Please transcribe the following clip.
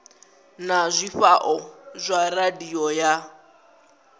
na zwifhao zwa radio ya